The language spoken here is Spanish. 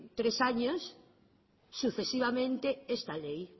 tres años sucesivamente esta ley